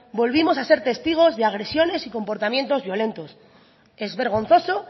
volvimos a ser testigos de agresiones y comportamientos violentos es vergonzoso